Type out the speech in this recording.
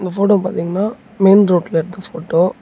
Photo பாத்திங்கன்னா main ரோட்டுல எடுத்த போட்டோ .